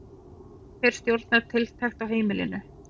Hver stjórnar tiltekt á heimilinu?